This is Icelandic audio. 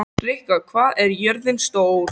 Rikka, hvað er jörðin stór?